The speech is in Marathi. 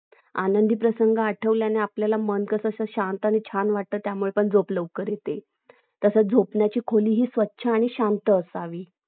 आनंद प्रसंग अठोवल्याणी मन कसं आपल्याला मस्त छान आणि शांत वाटता त्यामुळे झोप मसत आणि लवकर येते तसेच झोपण्याची खोली स्वच्छ आणि शांत असावी